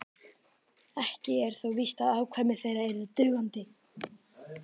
ekki er þó víst að afkvæmi þeirra yrðu dugandi